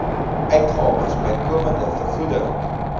uitgawes bykomende vergoeding